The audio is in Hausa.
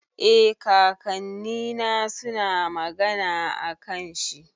Eh, kakannina suna magana akan shi.